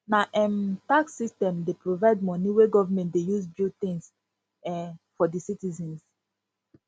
na um tax system dey provide moni wey government dey use build tins um for di citizens